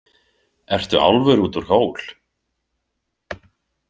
Ertu álfur út úr hól?